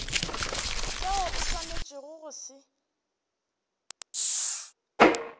seo o swanetšego go se